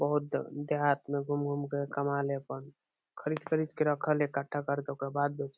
बहुत देहात में घूम घूम के कमा ले अपन खरीद-खरीद के रखाले अपन इकट्ठा करके ऊपर बाद बेचे।